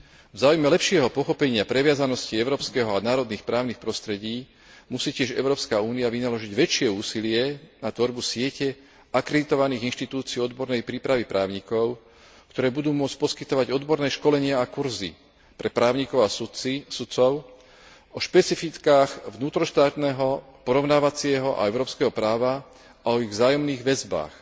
V záujme lepšieho pochopenia previazanosti európskeho a národných právnych prostredí musí tiež Európska únia vynaložiť väčšie úsilie na tvorbu siete akreditovaných inštitúcií odbornej prípravy právnikov, ktoré budú môcť poskytovať odborné školenia a kurzy pre právnikov a sudcov o špecifikách vnútroštátneho porovnávacieho a európskeho práva a o ich vzájomných väzbách.